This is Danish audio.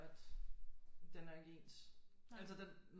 At den er ikke ens altså den